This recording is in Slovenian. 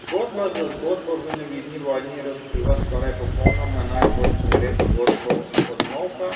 Zgodba za zgodbo v Nevidni vojni razkriva skoraj popolnoma enak vrstni red dogodkov od molka